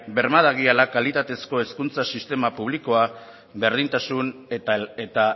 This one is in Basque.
berma dadila kalitatezko hezkuntza sistema publikoa berdintasuna eta